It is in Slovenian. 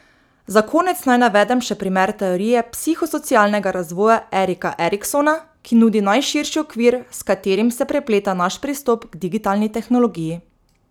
Za konec naj navedem še primer teorije psihosocialnega razvoja Erika Eriksona, ki nudi najširši okvir, s katerim se prepleta naš pristop k digitalni tehnologiji.